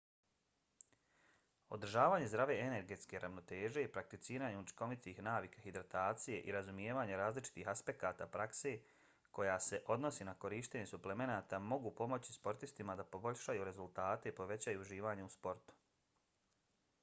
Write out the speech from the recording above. održavanje zdrave energetske ravnoteže prakticiranje učinkovitih navika hidratacije i razumijevanje različitih aspekata prakse koja se odnosi na korištenje suplemenata mogu pomoći sportistima da poboljšaju rezultate i povećaju uživanje u sportu